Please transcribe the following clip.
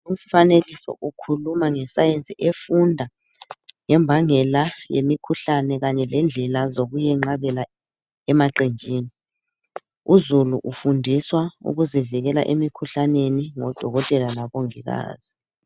Umfanekiso ukhuluma ngesayensi efunda ngembangela yemikhuhlane kanye lendlela zokuyenqabela emaqenjini, uzulu ufundiswa ukuzivikela emikhuhlaneni ngodokotela labongikazi.